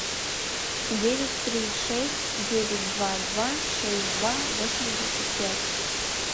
девять три шесть девять два два шесть два восемьдесят пять